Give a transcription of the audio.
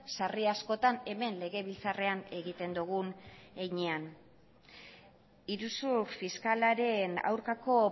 sarri askotan hemen legebiltzarrean egiten dugun heinean iruzur fiskalaren aurkako